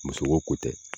Muso ko ko tɛ